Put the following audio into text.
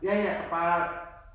Ja ja. Bare